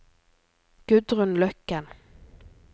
Gudrun Løkken